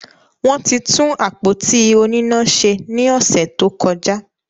Wọ́n ti tún àpótí oníná se ní ọ̀sẹ̀ tó kọjá.